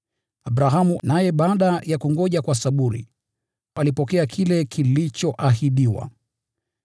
Abrahamu naye, baada ya kungoja kwa saburi, alipokea kile kilichoahidiwa.